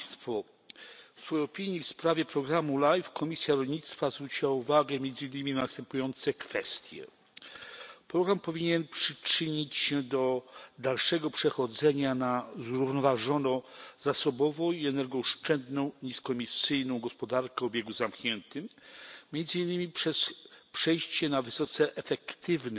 W opinii w sprawie programu LIFE Komisja Rolnictwa zwróciła uwagę między innymi na następujące kwestie. Program powinien przyczynić się do dalszego przechodzenia na zrównoważoną zasobowo i energooszczędną niskoemisyjną gospodarkę o obiegu zamkniętym, między innymi przez przejście na wysoce efektywny